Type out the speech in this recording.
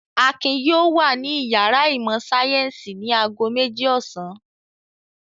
Akin yóò wà ní ìyàrá ìmọ̀-sáyẹ́ńsì ní ago méjì ọ̀sán!